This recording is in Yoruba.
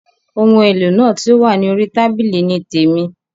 Oun èlò náà ti o wa ni orí tábìlì ni témi.